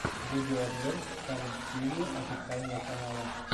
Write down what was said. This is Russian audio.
видеообзор салем стьюдио официального канала